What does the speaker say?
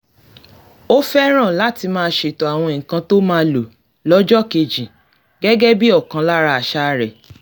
ó fẹ́ràn láti máa ṣètò àwọn nǹkan tó máa lò lọ́jọ́ kejì gẹ́gẹ́ bí ọ̀kan lára àṣà rẹ̀